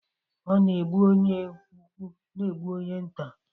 ..ọ na egbu onye ukwu, ọ na egbu onye nta.